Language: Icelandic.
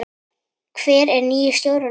Hver er nýi stjórinn okkar?